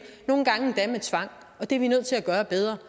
nogle gange endda med tvang det er vi nødt til at gøre bedre